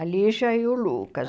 A Lígia e o Lucas.